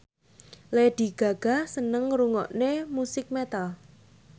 Lady Gaga seneng ngrungokne musik metal